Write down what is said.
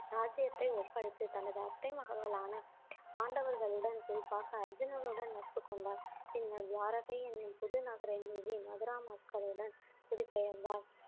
ராஜ்ஜியத்தை ஒப்படைத்து தனது அத்தை மகன்களான பாண்டவர்களுடன் குறிப்பாக அர்ஜுனனுடன் நட்பு கொண்டார் பின்னர் துவாரகை எண்ணும் புதுநகரை மீது மதுரா மக்களுடன் குடிபெயர்ந்தார்